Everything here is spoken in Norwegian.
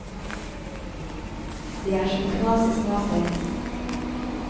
Det er som å knase småstein.